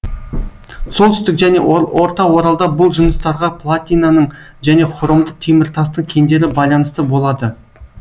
солтүстік және орта оралда бұл жыныстарға платинаның және хромды теміртастың кендері байланысты болады